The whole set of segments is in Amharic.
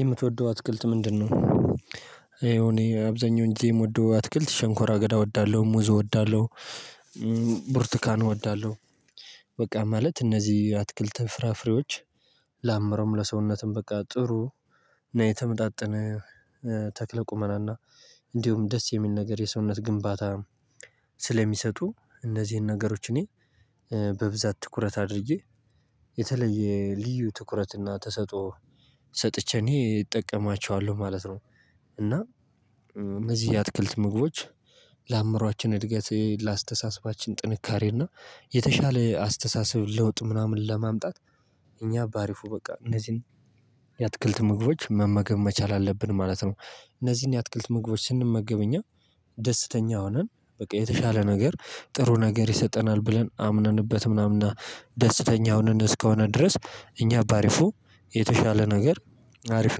የምትወደው አትክልት ምንድነው? እኔ አብዛኛው ጊዜ የምወደው አትክልት ሸንኮራ አገዳ እወዳለሁ ሙዝ እወዳለሁ ቡርቱካን እወዳለሁ። በቃ ማለት እነዚህ አትክልት ፍራፍሬዎች። ለአምሮም ለሰውነትም በቃ ጥሩ እና የተመጣጠነ ተክለ ቁመናና እንዲሁም ደስ የሚል ነገር የሰውነት ግንባታ ስለሚሰጡ እነዚህን ነገሮች እኔ በብዛት ትኩረት አድርጌ የተለየ ልዩ ትኩረት እና ተሰጥኦ ሰጥቼ እኔ እጠቀማቸዋለሁ ማለት ነው። እና እነዚህ የአትክልት ምግቦች። ለአምሮአችን እድገት ለአስተሳሰባችን ጥንካሬ እና የተሻለ አስተሳሰብ ለውጥ ምናምን ለማምጣት እኛ በአሪፉ በቃ እነዚህን የአትክልት ምግቦች መመገብ መቻል አለብን ማለት ነው። እነዚህን የአትክልት ምግቦች ስንመገብ እኛ ደስተኛ ሆነን በቃ የተሻለ ነገር ጥሩ ነገር ይሰጠናል ብለን አምነንበት ምናምን ደስተኛ ሆነን እስከሆነ ድረስ እኛ በአሪፉ የተሻለ ነገር አሪፍ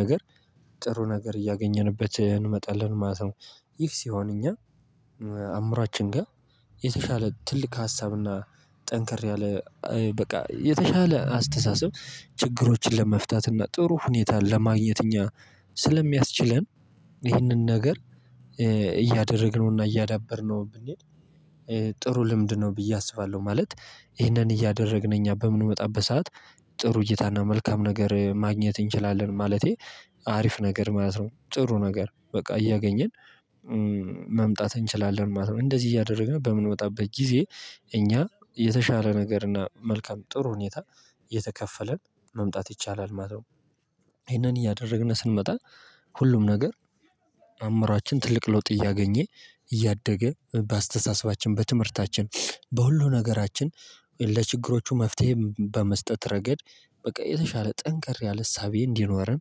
ነገር ጥሩ ነገር እያገኘንበት እንመጣለን ማለት ነው። ይህ ሲሆን እኛ አምሯችን ጋር የተሻለ ትልቅ ሀሳብና ጠንከር ያለ በቃ የተሻለ አስተሳሰብ ችግሮችን ለመፍታት እና ጥሩ ሁኔታ ለማግኘት እኛ ስለሚያስችለን ይህንን ነገር እያደረግነውና እያዳበርነው ብንሄድ። ጥሩ ልምድ ነው ብዬ አስባለሁ ማለት ይህንን እያደረግን እኛ በምንመጣበት ሰዓት ጥሩ እይታና መልካም ነገር ማግኘት እንችላለን። ማለቴ አሪፍ ነገር ማለት ነው ጥሩ ነገር በቃ እያገኘን ማምጣት እንችላለን ማለት ነው። እንደዚህ እያደረግን በምንወጣበት ጊዜ እኛ የተሻለ ነገር እና መልካም ጥሩ ሁኔታ የተከፈለን መምጣት ይቻላል ማለት ነው። ይሄንን እያደረግን ስንመጣ ሁሉም ነገር አእምሮአችን ትልቅ ለውጥ እያገኘ እያደገ በአስተሳሰባችን በትምህርታችን በሁሉ ነገራችን ለችግሮቹ መፍትሄ በመስጠት ረገድ በቃ የተሻለ ጠንክር ያለ እሳቤ እንዲኖረን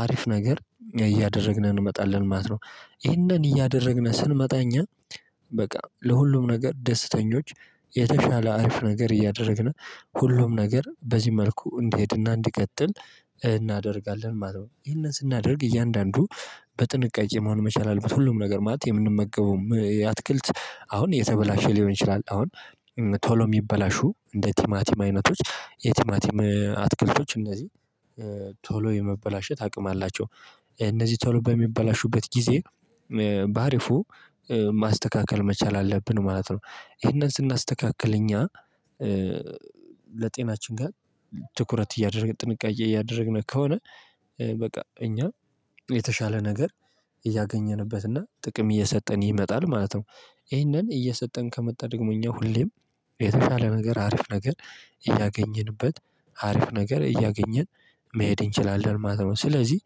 አሪፍ ነገር እያደረግን እንመጣለን ማለት ነው። ይሄንን እያደረግን ስንመጣ እኛ በቃ ለሁሉም ነገር ደስተኞች የተሻለ አሪፍ ነገር እያደረግን ሁሉም ነገር በዚህ መልኩ እንዲሄድና እንዲቀጥል እናደርጋለን ማለት ነው። ይሄንን ስናደርግ እያንዳንዱ በጥንቃቄ መሆን መቻል አለበት ሁሉም ነገር ማለት የምንመገበውም የአትክልት አሁን የተበላሸ ሊሆን ይችላል አሁን። ቶሎ ሚበላሹ እንደ ቲማቲም አይነቶች የቲማቲም አትክልቶች እነዚህ ቶሎ የመበላሸት አቅም አላቸው። እነዚህ ቶሎ በሚበላሹበት ጊዜ በአሪፉ ማስተካከል መቻል አለብን ማለት ነው። ይሄንን ስናስተካክል እኛ ለጤናችን ጋር ትኩረት እያደረግን ጥንቃቄ እያደረግን ከሆነ በቃ እኛ የተሻለ ነገር እያገኘንበት እና ጥቅም እየሰጠን ይመጣል ማለት ነው። ይሄንን እየሰጠን ከመጣ ደግሞ እኛ ሁሌም የተሻለ ነገር አሪፍ ነገር እያገኘንበት አሪፍ ነገር እያገኘን መሄድ እንችላለን ማለት ነው። ስለዚህ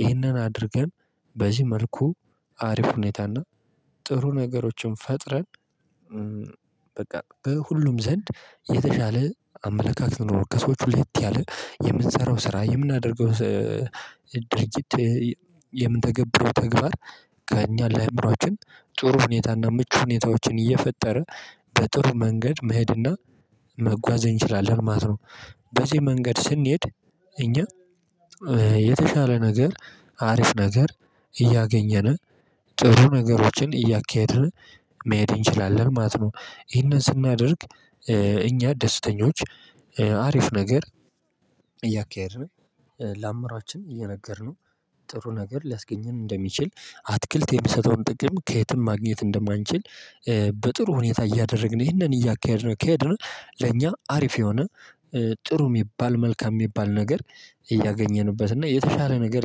ይህንን አድርገን በዚህ መልኩ አሪፍ ሁኔታና ጥሩ ነገሮችን ፈጥረን። በቃ በሁሉም ዘንድ የተሻለ አመለካከት ነው ከሰዎች ልዩት ያለ የምንሰራው ስራ የምናደርገው ድርጊት የምንተገብረው ተግባር ከእኛ ለአእምሮአችን ጥሩ ሁኔታና ምቹ ሁኔታዎችን እየፈጠርን በጥሩ መንገድ መሄድና መጓዝ እንችላለን ማለት ነው። በዚህ መንገድ ስንሄድ እኛ የተሻለ ነገር አሪፍ ነገር እያገኘን ጥሩ ነገሮችን እያካሄድን መሄድ እንችላለን ማለት ነው። ይህንን ስናደርግ እኛ ደስተኞች አሪፍ ነገር። ለአምራችን እየነገርነው ጥሩ ነገር ሊያስገኝም እንደሚችል አትክልት የሚሰጠውን ጥቅም ከየትም ማግኘት እንደማንችል። በጥሩ ሁኔታ እያደረግን ይህንን እያካሄድነው ኬድነው ለኛ አሪፍ የሆነ ጥሩ የሚባል መልካም የሚባል ነገር እያገኘንበት እና የተሻለ ነገር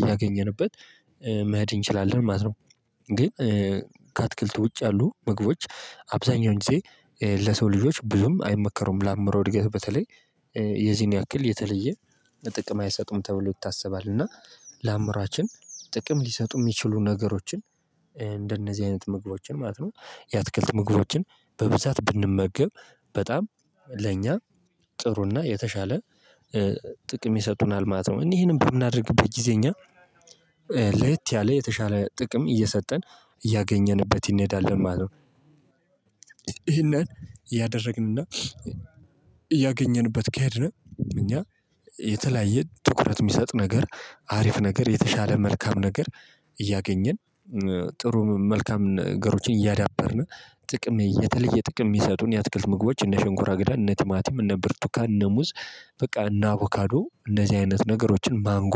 እያገኘንበት መሄድ እንችላለን ማለት ነው። ግን ከአትክልት ውጭ ያሉ ምግቦች አብዛኛውን ጊዜ ለሰው ልጆች ብዙም አይመከሩም ለአምሮ እድገት በተለይ የዚህን ያክል የተለየ ጥቅም አይሰጡም ተብሎ ይታሰባል። እና ለአምሯችን ጥቅም ሊሰጡ ሚችሉ ነገሮችን እንደነዚህ አይነት ምግቦችን ማለት ነው። የአትክልት ምግቦችን በብዛት ብንመገብ በጣም ለእኛ ጥሩና የተሻለ ጥቅም ይሰጡናል ማለት ነው። እኛ ይሄንን ብምናደርግበት ጊዜ እኛ ለየት ያለ የተሻለ ጥቅም እየሰጠን እያገኘንበት እንሄዳለን ማለት ነው። ይሄንን ያደረግንና ያገኘንበት ከሄድነ እኛ የተለያየ ትኩረት የሚሰጥ ነገር አሪፍ ነገር የተሻለ መልካም ነገር እያገኘን ጥሩ መልካም ነገሮችን እያዳበርነ ጥቅም የተለየ ጥቅም የሚሰጡን የአትክልት ምግቦች እነ ሸንኮራ አገዳን እነ ቲማቲም እነ ብርቱካን እነ ሙዝ። በቃ እና አቮካዶ እንደዚህ አይነት ነገሮችን ማንጎ